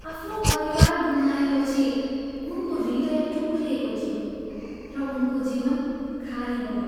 आफ्नो परिवार गुमाएपछि, उनको हृदय टुक्रिएको थियो र उनको जीवन खाली भयो।